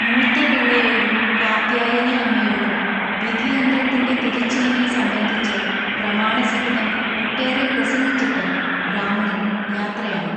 മൂത്തപിള്ളയോടും കാർത്യായനിഅമ്മയോടും വിധിയന്ത്രത്തിൻ്റെ തിരിച്ചിലിനെ സംബന്ധിച്ച് പ്രമാണസഹിതം ഒട്ടേറെ പ്രസംഗിച്ചിട്ട് ബ്രാഹ്മണൻ യാത്രയായി.